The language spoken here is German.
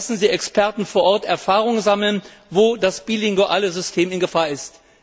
Lassen Sie Experten vor Ort Erfahrung sammeln, wo das bilinguale System in Gefahr ist.